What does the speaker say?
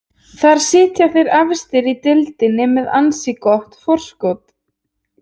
Þar sitja þeir efstir í deildinni með með ansi gott forskot.